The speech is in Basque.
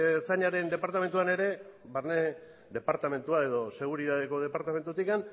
ertzainaren departamentuan ere barne departamentua edo seguritateko departamentutik